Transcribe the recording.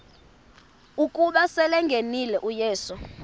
ukuba selengenile uyesu